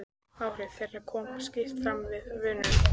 Áhrif þeirra koma skýrt fram við vönun.